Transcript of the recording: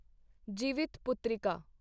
Jivitputrika